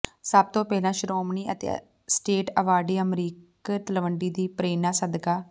ਸਭ ਤੋਂ ਪਹਿਲਾ ਸ਼ੋ੍ਮਣੀ ਅਤੇ ਸਟੇਟ ਅਵਾਰਡੀ ਅਮਰੀਕ ਤਲਵੰਡੀ ਦੀ ਪਰੇ੍ਨਾ ਸਦਕਾ